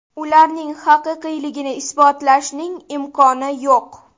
Ularning haqiqiyligini isbotlashning imkoni yo‘q.